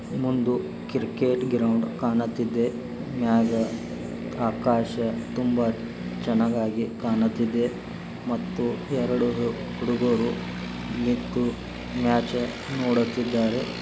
ಮುಂದು cricket ground ಕಾಣತ್ತಿದ್ದೆ. ಮ್ಯಾಗ ಆಕಾಶ ತುಂಬಾ ಚನ್ನಗಿ ಕಾಣತ್ತಿದ್ದೆ ಮತ್ತು ಎರಡು ಹುಡ್ಗುರು ಮ್ಯಾಚ ನೋಡುತ್ತಿದ್ದಾರೆ.